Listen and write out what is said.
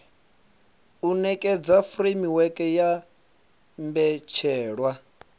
u nekedza furemiweke ya mbetshelwa